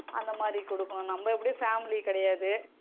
அந்த மாதிரி கொடுக்கணும் நம்ம எப்படியும் family கிடையாது.